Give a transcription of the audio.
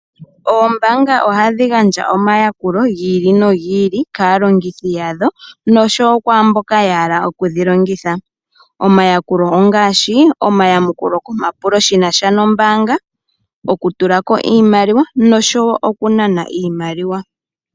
Oombaanga ohadhi gandja omayakulo gi ili nogi ili kaalongithi yadho nosho wo kwaa mboka ya hala okudhi longitha. Omayakulo ongaashi: omayamukulo komapulo shi na sha nombaanga, okutula ko iimaliwa nosho wo okunana iimaliwa.